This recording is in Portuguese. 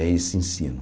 É esse ensino.